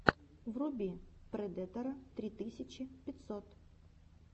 вруби предэтора три тысячи пятьсот